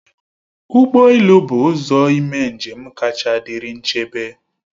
Ụgbọ elu bụ ụzọ ime njem kacha dịrị nchebe